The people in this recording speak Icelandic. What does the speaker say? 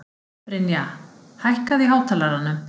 Brynja, hækkaðu í hátalaranum.